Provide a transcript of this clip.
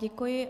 Děkuji.